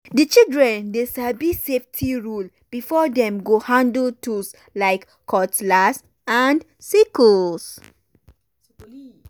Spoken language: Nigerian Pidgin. the children dey sabi safety rule before dem go handle tools like cutlass and sickles.